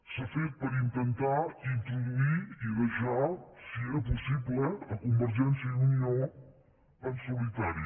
s’ha fet per intentar introduir i deixar si era pos·sible convergència i unió en solitari